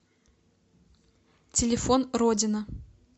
телефон родина